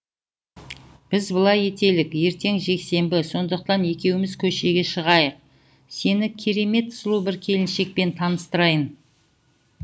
біз былай етелік ертең жексенбі сондықтан екеуміз көшеге шығайық сені керемет сұлу бір келіншекпен таныстырайын